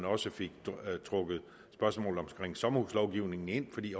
også fik trukket spørgsmålet om sommerhuslovgivningen ind i